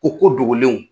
Ko ko dogolenw